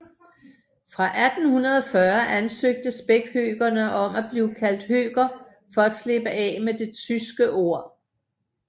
Fra 1840 ansøgte spækhøkerne om at blive kaldt høker for at slippe af med det tyske ord